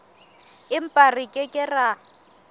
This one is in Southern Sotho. empa re ke ke ra